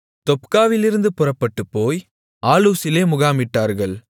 தொப்காவிலிருந்து புறப்பட்டுப் போய் ஆலூசிலே முகாமிட்டார்கள்